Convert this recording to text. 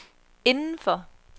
indenfor